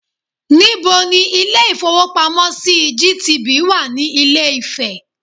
Níbo ni Ilé ìfowópamọ́ sí GTB wà ní Ilé Ifè